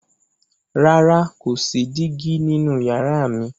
Rara, ko si digi ninu yara mi.